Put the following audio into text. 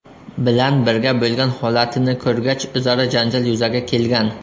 bilan birga bo‘lgan holatini ko‘rgach o‘zaro janjal yuzaga kelgan.